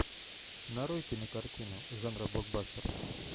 нарой кинокартину жанра блокбастер